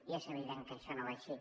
i és evident que això no va així